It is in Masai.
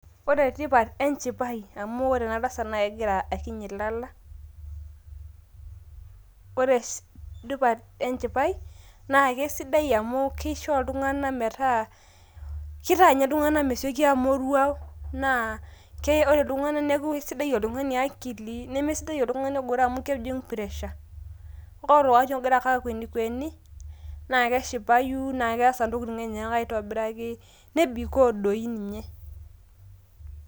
ore tipat enchipai amu ore ena tasat naa kegira akiny ilala .ore sii tipat enchipai naa kisidai amu kisho iltunganak metaa ,kitaa ninye iltunganak mesioki amoruau naa keretoki iltunganak niaku isidai oltungani akili. nemesidai oltungani ogoro amu kejing pressure. ore oltungani ogira ake akwenikweni naa keshipayu naa keasa ntokitin enyenak aitobiraki nebikoo doi ninye .